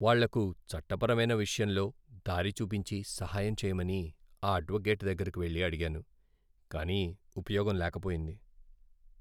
వాళ్ళకు చట్టపరమైన విషయంలో దారి చూపించి, సహాయం చేయమని ఆ అడ్వొకేట్ దగ్గరకు వెళ్లి అడిగాను, కానీ ఉపయోగం లేకపోయింది!